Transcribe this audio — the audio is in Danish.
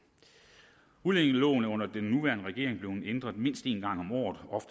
udlændingeloven er under den nuværende regering blevet ændret mindst en gang om året og